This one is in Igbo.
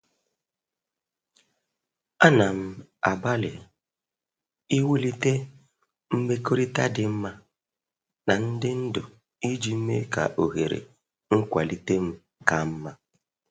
Ana m agbalị iwulite mmekọrịta dị mma na ndị ndu iji mee ka ohere nkwalite m ka mma.